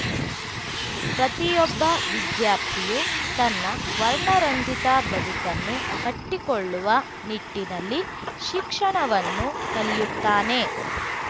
ಪ್ರತಿಯೊಬ್ಬ ವಿದ್ಯಾರ್ಥಿಯು ತನ್ನ ವರ್ಣರಂಜಿತ ಬದುಕನ್ನು ಕಟ್ಟಿಕೊಳ್ಳುವ ನಿಟ್ಟಿನಲ್ಲಿ ಶಿಕ್ಷಣವನ್ನು ಕಲಿಯುತ್ತಾನೆ